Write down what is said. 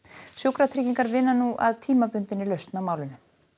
sjúkratryggingar vinna nú að tímabundinni lausn á málinu